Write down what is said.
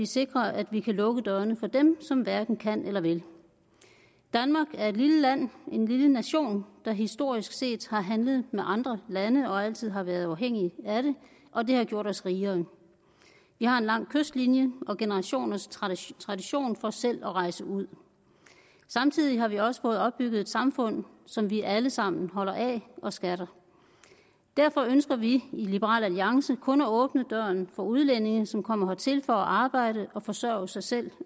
sikrer at vi kan lukke dørene for dem som hverken kan eller vil danmark er et lille land en lille nation der historisk set har handlet med andre lande og altid har været afhængig af det og det har gjort os rigere vi har en lang kystlinje og generationers tradition for selv at rejse ud samtidig har vi også fået opbygget et samfund som vi alle sammen holder af og skatter derfor ønsker vi i liberal alliance kun at åbne døren for udlændinge som kommer hertil for at arbejde og forsørge sig selv